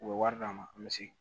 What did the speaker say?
U bɛ wari d'an ma an bɛ segin